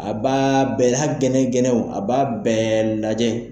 A b'aaa bɛɛ, hali gɛlɛn-gɛlɛnw a b'a bɛɛɛɛ lajɛ.